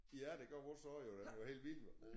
Ja det gør vores også jo den gør helt vildt